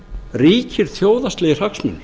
ríkir þjóðhagslegir hagsmunir